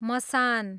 मसान